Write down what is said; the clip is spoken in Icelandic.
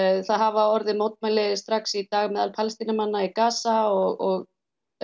það hafa orðið mótmæli strax í dag meðal Palestínumanna í Gaza og